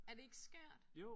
Er det ikke skørt?